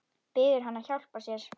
Biður hann að hjálpa sér.